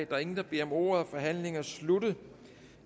der er ingen der beder om ordet og forhandlingen er sluttet